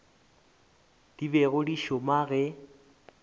di bego di šoma ge